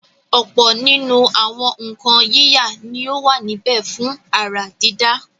ọ̀pọ̀ nínú àwọn nǹkan yíyà ni ó wà níbẹ̀ fún àrà dídá.